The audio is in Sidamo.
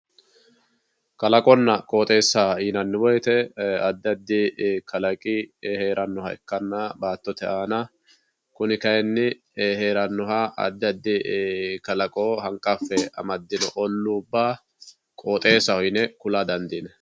kalaqonna qooxeesa yinanni woyiite addi addi kalaqi heeranoha ikkanna baatote aana kuni kayiini heeranoha addi addi kalaqo hanqaffe amadino oluubba qooxeesaho yine kula dandiinanni.